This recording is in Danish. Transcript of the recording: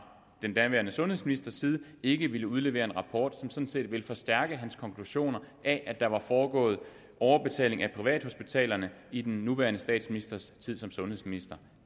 den daværende sundhedsministers side ikke ville udlevere en rapport som sådan set ville forstærke hans konklusioner af at der var foregået overbetaling af privathospitalerne i den nuværende statsministers tid som sundhedsminister